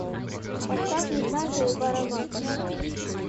поставь незнайка и баррабасс